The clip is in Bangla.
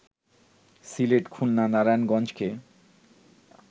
সিলেট, খুলনা, নারায়ণগঞ্জকে